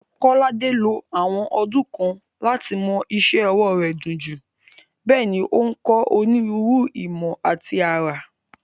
Kolade ló àwọn ọdún kan láti mọ́ iṣẹ́ ọwọ́ rẹ̀ dunjú, bẹ́ẹ̀ ni ó ń kọ́ onírúurú ìmọ̀ àti àrà.